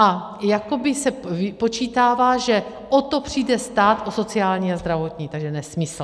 A jakoby se vypočítává, že o to přijde stát, o sociální a zdravotní, takže nesmysl.